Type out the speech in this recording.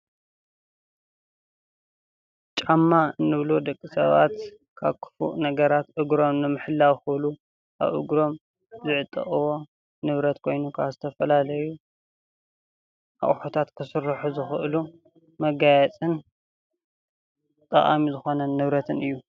ጫማ እንብሎ ደቂ ሰባት ካብ ክፉእ ነገራት እግሮም ንምሕላው ክብሉ ኣብ እግሮም ዝዕጠቅዎ ንብረት ኮይኑ ወይ ከዓ ዝተፈላለዩ ኣቁሑታት ክስርሑዝክእሉ መጋየፅን ጠቃሚ ዝኮነ ንብረትን እዩ።